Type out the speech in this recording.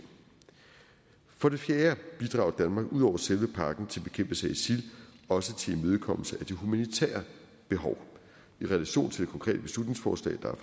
for det fjerde bidrager danmark ud over selve pakken til bekæmpelse af isil også til imødekommelse af de humanitære behov i relation til det konkrete beslutningsforslag der